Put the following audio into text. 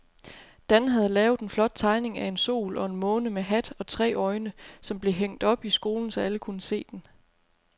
Dan havde lavet en flot tegning af en sol og en måne med hat og tre øjne, som blev hængt op i skolen, så alle kunne se den.